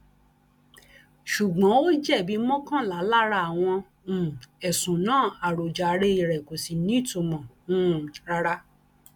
ṣùgbọn ó jẹbi mọkànlá lára àwọn um ẹsùn náà àròjàre rẹ kò sì nítumọ um rárá